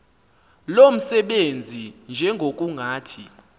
lo msebenzi njengokungathi